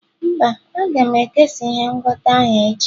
mba, aga m ekesa ihe ngwọta ahụ echi.